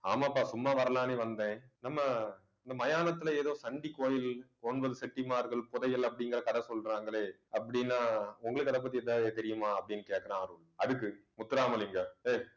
ஆமாம்ப்பா சும்மா வரலான்னு வந்தேன் நம்ம இந்த மயானத்துல ஏதோ சண்டி கோயில் ஒன்பது செட்டிமார்கள் புதையல் அப்படிங்கிற கதை சொல்றாங்களே அப்படின்னா உங்களுக்கு அதைப்பத்தி எதாவது தெரியுமா அப்படின்னு கேட்கிறான் அருள் அதுக்கு முத்துராமலிங்கம் ஏய்